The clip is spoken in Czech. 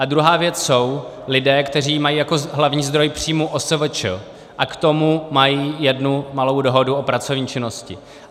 A druhá věc jsou lidé, kteří mají jako hlavní zdroj příjmů OSVČ a k tomu mají jednu malou dohodu o pracovní činnosti.